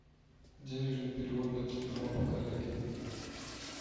денежный перевод на телефон коллеги